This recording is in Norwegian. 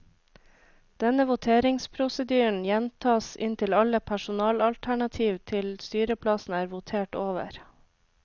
Denne voteringsprosedyren gjentas inntil alle personalternativ til styreplassen er votert over.